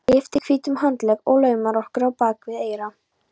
Lyftir hvítum handlegg og laumar lokki á bak við eyra.